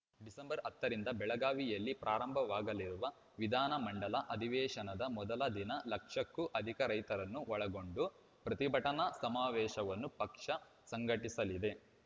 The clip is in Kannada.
ಡಿಸೆಂಬರ್ ಹತ್ತ ರಿಂದ ಬೆಳಗಾವಿಯಲ್ಲಿ ಪ್ರಾರಂಭವಾಗಲಿರುವ ವಿಧಾನ ಮಂಡಲ ಅಧಿವೇಶನದ ಮೊದಲ ದಿನ ಲಕ್ಷಕ್ಕೂ ಅಧಿಕ ರೈತರನ್ನು ಒಳಗೊಂಡು ಪ್ರತಿಭಟನಾ ಸಮಾವೇಶವನ್ನು ಪಕ್ಷ ಸಂಘಟಿಸಲಿದೆ